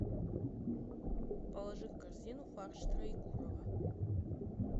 положи в корзину фарш троекурово